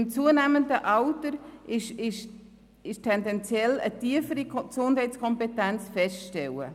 Mit zunehmendem Alter ist tendenziell eine tiefere Gesundheitskompetenz festzustellen.